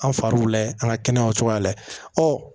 An far'u layɛ an ka kɛnɛyaw cogoya lajɛ